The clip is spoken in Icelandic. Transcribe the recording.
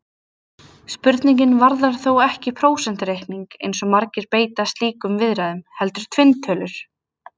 Spurningin varðar þó ekki prósentureikning, eins og margir beita í slíkum viðræðum, heldur tvinntölur!